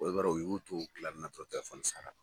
Ɔ i b'a don u y'o to o kilani dɔrɔn telefɔni sara.